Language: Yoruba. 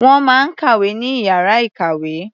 Wọ́n máa ń kàwé ní ìyára ìkàwé.